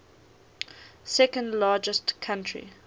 second largest country